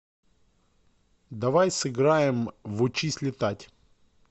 давай сыграем в учись летать